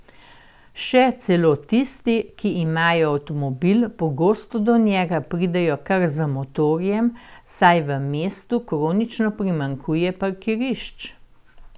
Še celo tisti, ki imajo avtomobil, pogosto do njega pridejo kar z motorjem, saj v mestu kronično primanjkuje parkirišč.